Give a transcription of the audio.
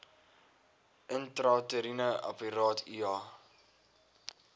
intrauteriene apparaat iua